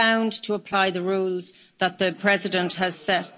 I am bound to apply the rules that the President has set.